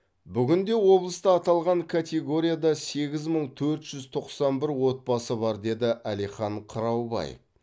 бүгінде облыста аталған категорияда сегіз мың төрт жүз тоқсан бір отбасы бар деді әлихан қыраубаев